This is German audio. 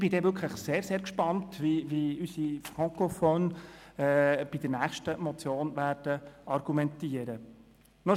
Ich bin wirklich sehr, sehr gespannt, wie unsere «Francophones» bei der nächsten Motion argumentieren werden.